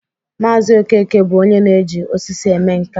Maazi Okeke bụ onye na-eji osisi eme nka